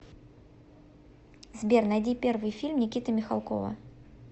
сбер найди первый фильм никиты михалкова